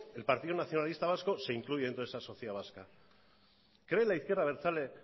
el partido nacionalista vasco se incluye dentro de esa sociedad vasca cree la izquierda abertzale